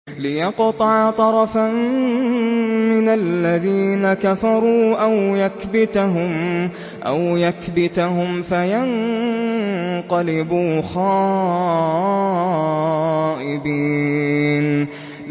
لِيَقْطَعَ طَرَفًا مِّنَ الَّذِينَ كَفَرُوا أَوْ يَكْبِتَهُمْ فَيَنقَلِبُوا خَائِبِينَ